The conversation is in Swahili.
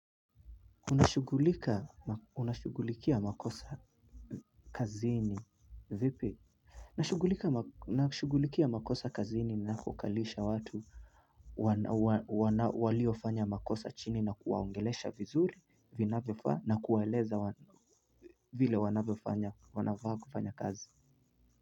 Unashughulikia makosa kazini vipi? Nashugulikia makosa kazini napokalisha watu waliofanya makosa chini na kuwaongelesha vizuri inavyofaa, na kuwaeleza vile wanavyofanya, wanafaa kufanya kazi.